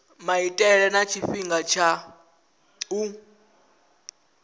maitele na tshifhinga tsha u